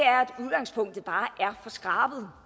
det bare er for skrabet